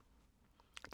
DR2